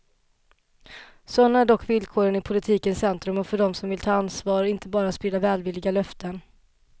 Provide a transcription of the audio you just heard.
Sådana är dock villkoren i politikens centrum och för dem som vill ta ansvar, inte bara sprida välvilliga löften.